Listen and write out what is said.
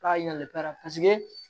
K'a yɛlɛ pɛrɛn paseke